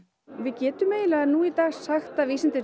við getum eiginlega nú í dag sagt að vísindin